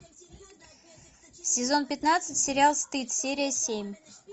сезон пятнадцать сериал стыд серия семь